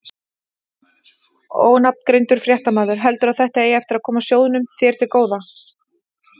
Ónafngreindur fréttamaður: Heldurðu að þetta eigi eftir að koma sjóðnum hér til góða?